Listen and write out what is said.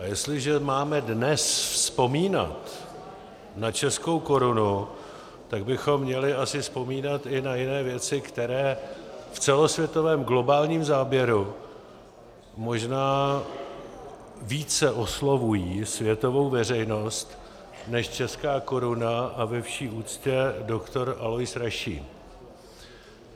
A jestliže máme dnes vzpomínat na českou korunu, tak bychom měli asi vzpomínat i na jiné věci, které v celosvětovém globálním záběru možná více oslovují světovou veřejnost než česká koruna a ve vší úctě doktor Alois Rašín.